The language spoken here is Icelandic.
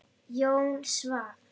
Jón Svan.